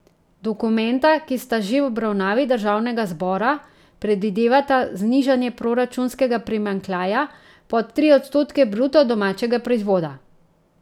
Dokumenta, ki sta že v obravnavi državnega zbora, predvidevata znižanje proračunskega primanjkljaja pod tri odstotke bruto domačega proizvoda.